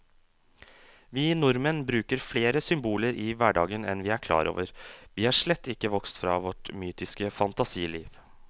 Vi nordmenn bruker flere symboler i hverdagen enn vi er klar over, vi er slett ikke vokst fra vårt mytiske fantasiliv.